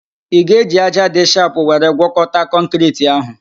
Ị ga-eji ájá dị shapụ were gwọkọta kọnkịriti ahụ?